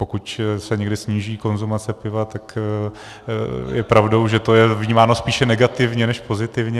Pokud se někdy sníží konzumace piva, tak je pravdou, že je to vnímáno spíše negativně než pozitivně.